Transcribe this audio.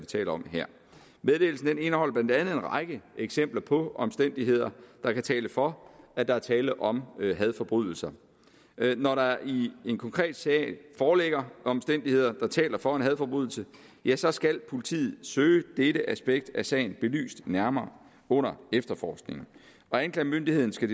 taler om her meddelelsen indeholder blandt andet en række eksempler på omstændigheder der kan tale for at der er tale om hadforbrydelser når der i en konkret sag foreligger omstændigheder der taler for en hadforbrydelse ja så skal politiet søge dette aspekt af sagen belyst nærmere under efterforskningen og anklagemyndigheden skal